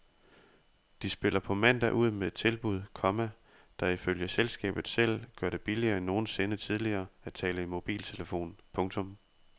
De spiller på mandag ud med et tilbud, komma der ifølge selskabet selv gør det billigere end nogensinde tidligere at tale i mobiltelefon. punktum